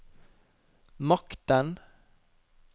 makten